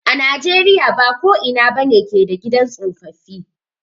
A na jeriya ba ko ina ba ne ke da gidan tsofaffi.